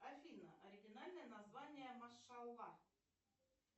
афина оригинальное название машалла